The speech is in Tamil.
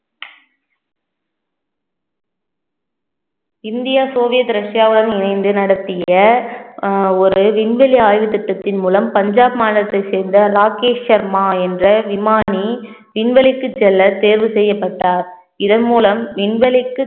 இந்தியா சோவியத் ரஷ்யாவுடன் இணைந்து நடத்திய அஹ் ஒரு விண்வெளி ஆய்வு திட்டத்தின் மூலம் பஞ்சாப் மாநிலத்தை சேர்ந்த ராகேஷ் சர்மா என்ற விமானி விண்வெளிக்கு செல்ல தேர்வு செய்யப்பட்டார் இதன் மூலம் விண்வெளிக்கு